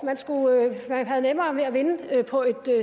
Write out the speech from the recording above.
man havde nemmere ved at vinde på